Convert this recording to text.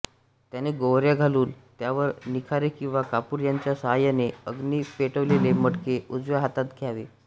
त्याने गोवर्या घालून त्यावर निखारे किंवा कापूर यांच्या साहाय्याने अग्नी पेटवलेले मडके उजव्या हातात घ्यावे